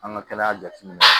An ka kɛnɛya jateminɛ